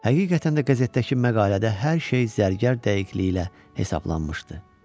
Həqiqətən də qəzetdəki məqalədə hər şey zərgər dəqiqliyi ilə hesablanmışdı.